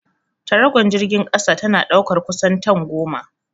Taragon jirgin kasa tana ɗaukar kusan tan goma.